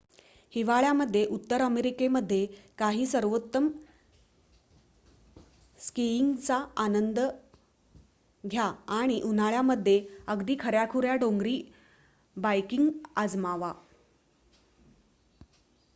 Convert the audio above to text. हिवाळया मध्ये उत्तर अमेरिकेमध्ये काही सर्वोत्तम स्कीइंगचा आनंद घ्या आणि उन्हाळ्यामध्ये अगदी खऱ्याखुऱ्या डोंगरी बायकिंग आजमावा